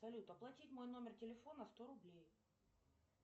салют оплатить мой номер телефона сто рублей